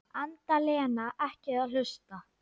Enda Lena ekki að hlusta.